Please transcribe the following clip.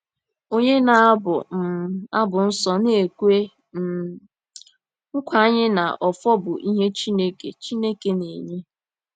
Onye na-abu um abụ nsọ na-ekwe um nkwa anyị na “ọfọ bụ ihe Chineke Chineke na-enye.”